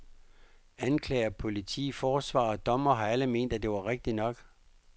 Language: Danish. Anklager, politi, forsvarer og dommere har alle ment, at det var rigtig nok.